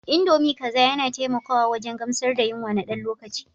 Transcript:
Indomie kaza yana taimakawa wajen gamsar da yunwa na ɗan lokaci.